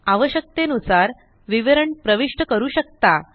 आवश्यकतेनुसार विवरण प्रविष्ट करू शकता